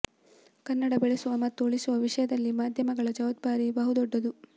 ಕನ್ನಡ ಬೆಳೆಸುವ ಮತ್ತು ಉಳಿಸುವ ವಿಷಯದಲ್ಲಿ ಮಾಧ್ಯಮಗಳ ಜವಾಬ್ದಾರಿ ಬಹು ದೊಡ್ಡದು